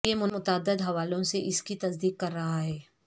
یہ متعدد حوالوں سے اس کی تصدیق کر رہا ہے